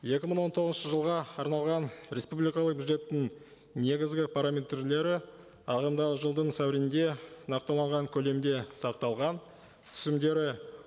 екі мың он тоғызыншы жылға арналған республикалық бюджеттің негізгі параметрлері ағымдағы жылдың сәуірінде нақтыланған көлемде сақталған түсімдері